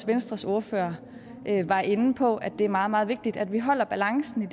venstres ordfører var inde på nemlig at det er meget meget vigtigt at vi holder balancen